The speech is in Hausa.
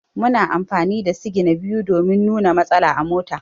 Muna amfani da signa biyu domin nuna matsala a mota.